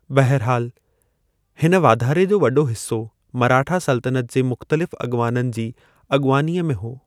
बहरहालु, हिनु वाधारे जो वॾो हिस्सो मराठा सल्तनत जे मुख़्तलिफ़ु अॻुवाननि जी अॻुवानीअ में हो।